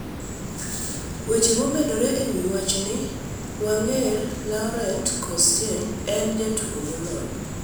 Weche momedore ewi wachni Wenger: Laurent Koscielny en jatugo molony